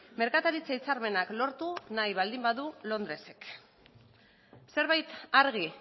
merkataritza hitzarmenak lortu nahi baldin badu londresek zerbait argi